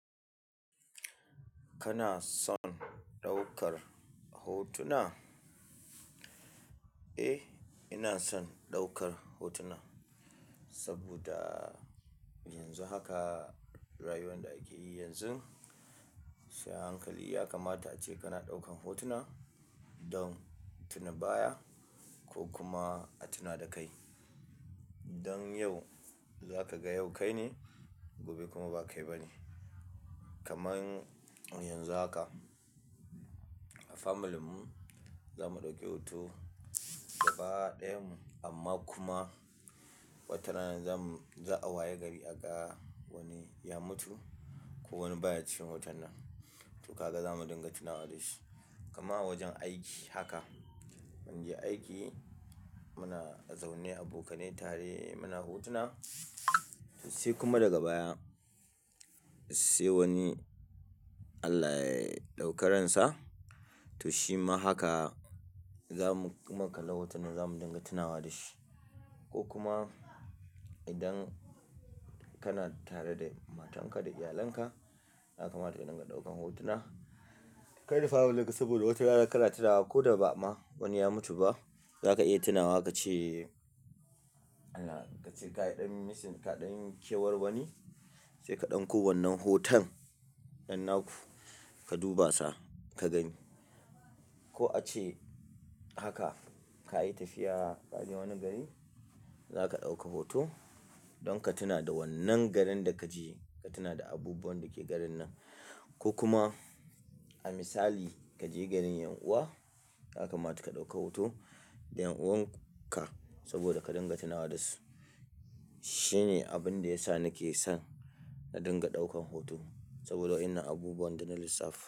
Kana son ɗaukar hotuna? Eh inason ɗaukar hotuna saboda yanzu haka rayuwar da akeyi yanzun sai ahankali yakamata ace kana ɗaukan hotuna don tuna baya ko kuma a tuna da kai. Don yau za ka ga yau kai ne gobe kuma ba kai ba ne. Kaman yanzu haka family mu zamu ɗauki hoto gaba ɗayan mu amma kuma watarana za mu, za a waye gari a ga wani ya mutu ko wani baya cikin hoton nan. To kaga za mu dinga tunawa da shi. Kaman awajen aiki haka anje aiki muna zaune abokanai tare muna hotuna sai kuma daga baya sai wani Allah ya ɗauke ransa to shima haka za mu kuma kala hoton nan za mu dinga tunawa da shi. Ko kuma idan kana tare da matanka da iyalanka ya kamata ka dinga ɗaukan hotuna. Kai rufe hula gaskiya saboda wata rana ka rataya wa ko da ba ma wani ya mutu ba za ka iya tunawa ka ce Allah ka ce ga yaɗin missing ka ɗanyi kewar wani sai ka ɗauko wannan hoton yanaku ka duba sa ka gani. Ko ace haka ka yi tafiya ka je wani gari za ka ɗauka hoto don ka tuna da wannan garin da ka je ka tuna da abubuwan da ke garin nan. Ko kuma a misali ka je garin ƴan uwa ya kamata ka ɗauka hoto da ƴan uwan ka saboda ka dinga tunawa da su. Shine abin da ya sa nake son na dinga ɗaukan hoto saboda wannan abubuwan da na lissafi.